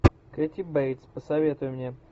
кэти бейтс посоветуй мне